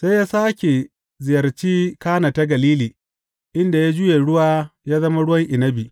Sai ya sāke ziyarci Kana ta Galili inda ya juya ruwa ya zama ruwan inabi.